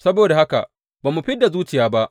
Saboda haka, ba mu fid da zuciya ba.